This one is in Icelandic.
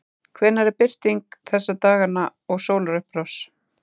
Hvenær er birting þessa dagana og sólarupprás?